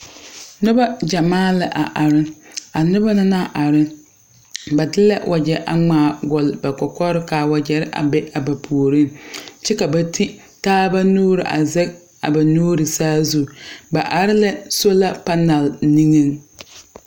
Nuba jamaa la a arẽ a nuba na nang arẽ ba di la wɔje a mgaa gɔɔri a kɔkɔri ka a wɔje a be ba poɔring kye ka ba te taaba nuuri a zege a ba nuuri saazu ba arẽ la sola panel ninge.